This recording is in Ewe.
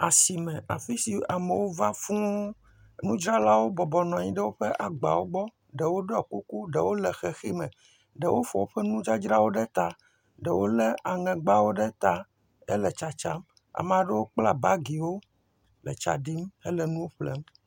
Asime afisi amewo va fũ, nu dzralawo bɔbɔnɔ anyi ɖe woƒe agbawo gbɔ, ɖewo ɖɔ kuku ɖewo le xexi m, ɖewo fɔ woƒe nudzadzrawo ɖe tã, ɖewo lè aŋegbawo ɖe tã he le tsatsa, ameaɖe kpla bagiwo le tsaɖim hele nuwo ƒle.